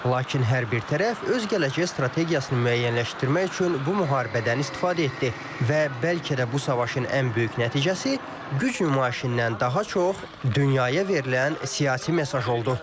Lakin hər bir tərəf öz gələcək strategiyasını müəyyənləşdirmək üçün bu müharibədən istifadə etdi və bəlkə də bu savaşın ən böyük nəticəsi güc nümayişindən daha çox dünyaya verilən siyasi mesaj oldu.